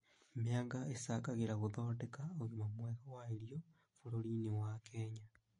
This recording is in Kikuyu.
Mĩanga ĩcangagĩra guthondeka ũgima mwega wa irio bũrũri-inĩ wa Kenya